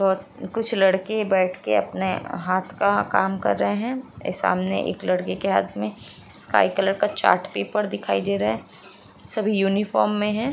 कुछ लड़के बैठ के अपने हाथ का काम कर रहें हैं सामने एक लड़के के हाथ में स्काई कलर का चार्ट पेपर दिखाई दे रहा है सभी यूनिफॉर्म में हैं।